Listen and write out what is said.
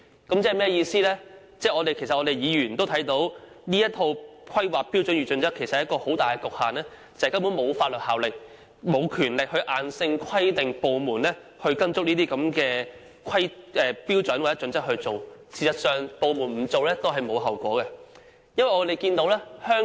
這正好反映我們議員都看到，《規劃標準》有一個很大的局限，即沒有法律效力和權力硬性規定有關部門必須根據《規劃標準》行事，有關部門達不到要求也不用承擔後果。